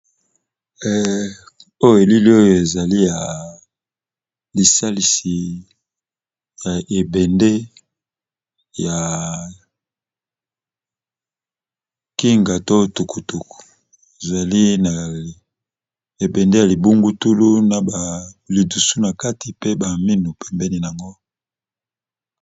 Oyo elili ezali lisalisi ya ebende ya tukutuku ezali na ebende ya libungulutulu na ba lidusu na kati pe ba mino pembeni nango